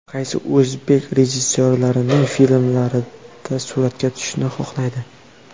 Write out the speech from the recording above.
Qaysi o‘zbek rejissyorlarining filmlarida suratga tushishni xohlaydi?